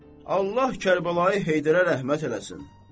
Allah Kərbəlayı Heydərə rəhmət eləsin.